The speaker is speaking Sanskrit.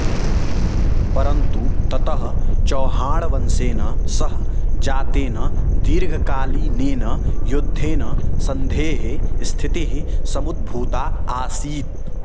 परन्तु ततः चौहाणवंशेन सह जातेन दीर्घकालीनेन युद्धेन सन्धेः स्थितिः समुद्भूता आसीत्